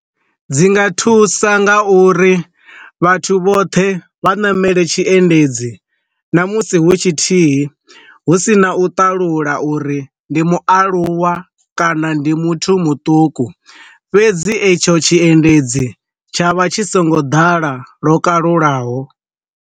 Dzi nga thusa nga uri vhathu vhoṱhe vha namele tshi endedzi na musi hu tshithihi hu si na u talula uri ndi mualuwa kana ndi muthu muṱuku, fhedzi etsho tshiendedzi tsha vha tshi songo ḓala lwo kalulaho.